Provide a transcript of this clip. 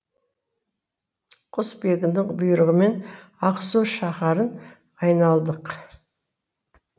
құсбегінің бұйрығымен ақсу шаһарын айналдық